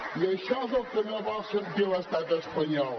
i això és el que no vol sentir l’estat espanyol